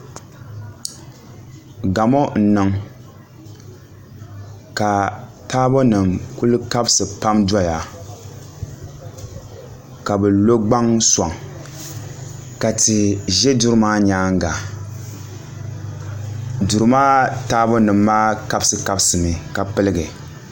Gamo n niŋ ka taabo nim ku kabisi pam doya ka bi lo gbaŋ soŋ ka tia ʒi duri maa nyaanga duri maa taabo nim maa kabisi kabisi mi ka piligi